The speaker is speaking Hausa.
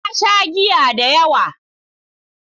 Na sha giya da yawa.